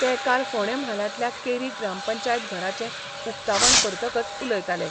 ते काल फोंडें म्हालांतल्या केरी ग्रामपंचायत घराचें उकतावण करतकच उलयताले.